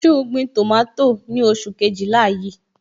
So gbin tomato ni oṣù Kejìlá yí?